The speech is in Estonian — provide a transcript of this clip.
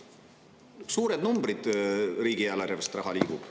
Suured numbrid, riigieelarvest raha liigub.